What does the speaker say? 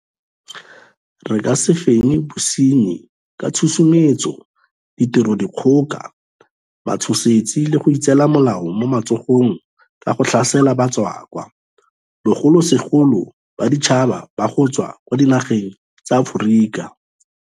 Re ka se fenye bosenyi ka tshusumetso, tirisodikgoka, matshosetsi le go itseela molao mo matsogong ka go tlhasela batswakwa, bogolosegolo baditšhaba go tswa kwa dinageng tsa Aforika.